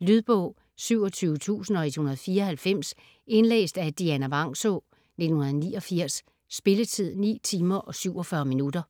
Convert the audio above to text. Lydbog 27194 Indlæst af Dianna Vangsaa, 1989. Spilletid: 9 timer, 47 minutter.